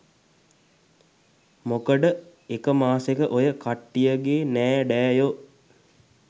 මොකඩ එක මාසෙක ඔය කට්ටියගෙ නෑඩෑයො